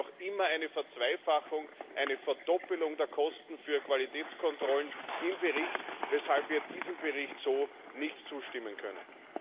Es gibt noch immer eine Verzweifachung eine Verdoppelung der Kosten für Qualitätskontrollen im Bericht, weshalb wir diesem Bericht so nicht zustimmen können.